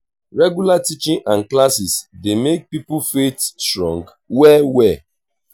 regular teaching and classes dey make pipo faith strong well well